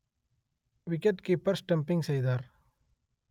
wicked keeper stumping செய்தார்